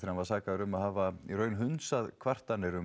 hann var sakaður um að hafa í raun hundsað kvartanir um